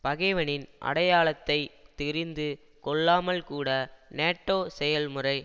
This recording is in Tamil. பகைவனின் அடையாளத்தை தெரிந்து கொள்ளாமல்கூட நேட்டோ செயல்முறை